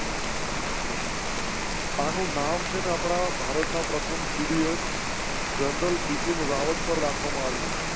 આનું નામ છે ને આપણા ભારતના પ્રથમ CDS જનરલ બિપિન રાવત પર રાખવા માં આવ્યું.